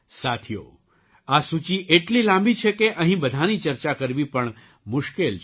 સાથીઓ આ સૂચિ એટલી લાંબી છે કે અહીં બધાંની ચર્ચા કરવી પણ મુશ્કેલ છે